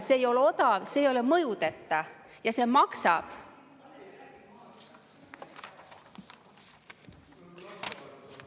See ei ole odav, see ei ole mõjudeta ja see maksab.